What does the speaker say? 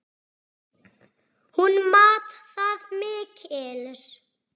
Hún mat það mikils.